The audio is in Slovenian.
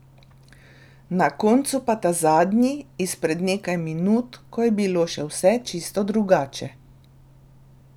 Na koncu pa ta zadnji, izpred nekaj minut, ko je bilo še vse čisto drugače.